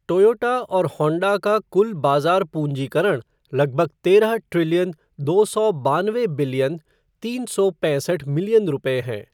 Toyota और Honda का कुल बाजार पूँजीकरण लगभग तेरह ट्रिलियन दो सौ बानवे बिलियन तीन सौ पैंसठ मिलियन रुपये है।